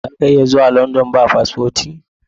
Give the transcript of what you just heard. Zaka iya zuwa London ba paspoti?